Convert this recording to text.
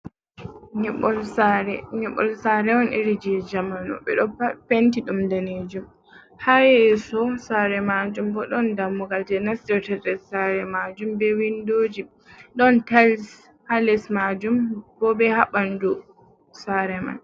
Nyiɓol sare, nyiɓol sare on irin je jamanu ɓeɗo penti ɗum danejum. Ha yesso sare majum bo ɗon dammugal je nastirta nder sare majum be windoji, ɗon tal ha les majum bo be ha ɓanɗu sare man.